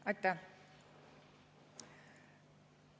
Aitäh!